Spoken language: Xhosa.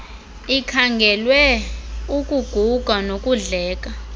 ikhangelwe ukuguga nokudleka